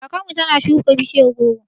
Kakar mu ta na shuka bishiyar goro